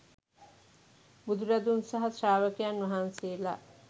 බුදුරදුන් සහ ශ්‍රාවකයන් වහන්සේලා